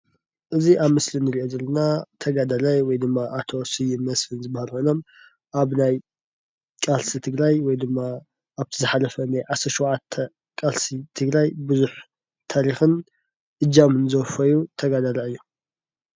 እዚ ኣብ ምስሊ ንሪኦ ዘለና ተጋዳላይ ወይ ድማ ኣቶ ስዩም መስፍን ዝበሃሉ ኮይኖም ኣብ ናይ ቃልሲ ትግራይ ወይ ድማ ኣብቲ ዝሓለፈ ናይ 17 ዓመት ቃልሲ ትግራይ ብዙሕ ታሪክን እጃምን ዘወፈዩ ተጋዳልይ እዮም ።